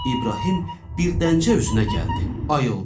İbrahim birdəncə özünə gəldi, ayıldı.